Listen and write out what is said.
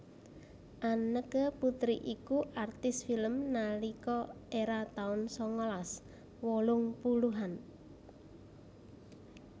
Anneke Putri iku artis film nalika era taun sangalas wolung puluhan